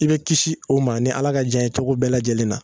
I be kisi o ma ni ala ka jɛn ye cogo bɛɛ lajɛlen na